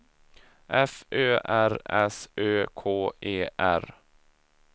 F Ö R S Ö K E R